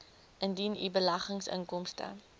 indien u beleggingsinkomste